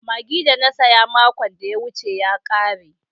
Magi da na siya makon da ya wuce ya kare.